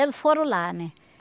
Eles foram lá, né?